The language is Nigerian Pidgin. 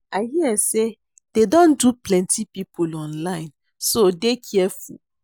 I hear say dey don dupe plenty people online so dey careful